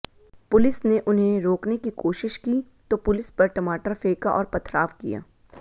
police ने उन्हें रोकने की कोशिश की तो पुलिस पर टमाटर फेंका और पथराव किया